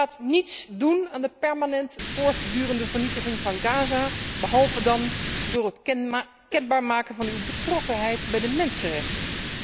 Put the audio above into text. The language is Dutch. U gaat niets doen aan de permanent voortdurende vernietiging van Gaza, behalve dan door het kenbaar maken van uw betrokkenheid bij de mensenrechten.